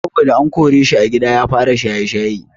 Saboda an koreshi a gida ya fara shaye-shaye.